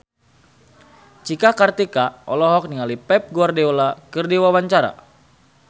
Cika Kartika olohok ningali Pep Guardiola keur diwawancara